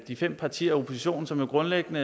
vi fem partier i oppositionen som jo grundlæggende